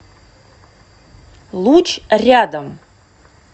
луч рядом